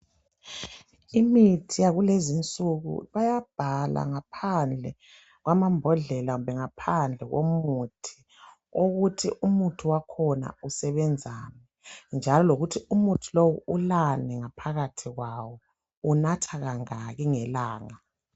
Imithi yakulezinsuku bayabhala ngaphandle kwamambodlela kumbe ngaphandle komuthi ukuthi umuthi wakhona usebenzani njalo lokuthi umuntu lowo ulani ngaphakathi kwawo, uwunatha kangaki ngelanga.